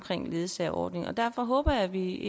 ledsagerordningen og derfor håber jeg at vi